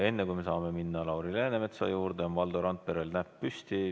Aga enne, kui me saame minna Lauri Läänemetsa juurde, on Valdo Randperel käsi püsti.